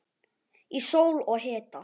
Í sól og hita.